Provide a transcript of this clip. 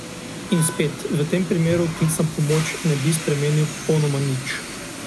In spet, v tem primeru klic na pomoč ne bi spremenil popolnoma nič.